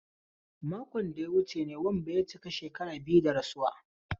Makon da ya wuce ne Wambai ya cika shekaru biyu da rasuwa.